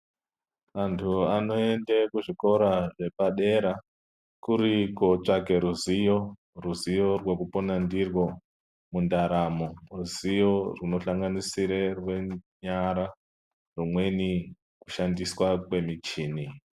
Vantu vanoende kuzvikora zvepadera kuri kotsvake ruziyo. Ruziyo rwekupona ndirwo mundaramo, ruziyo runosanganisira rwenyara rwumweni kushandiswa kwemichini.